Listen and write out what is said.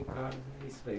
Ricardo. É isso aí.